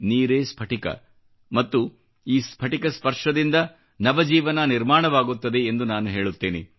ನೀರೇ ಸ್ಫಟಿಕ ಮತ್ತು ಈ ಸ್ಫಟಿಕ ಸ್ಪರ್ಶದಿಂದ ನವ ಜೀವನ ನಿರ್ಮಾಣವಾಗುತ್ತದೆ ಎಂದು ನಾನು ಹೇಳುತ್ತೇನೆ